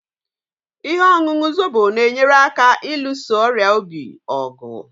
Ihe ọṅụṅụ Zobo na-enyere aka ịlụso ọrịa obi ọgụ